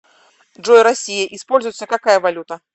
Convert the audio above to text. джой россия используется какая валюта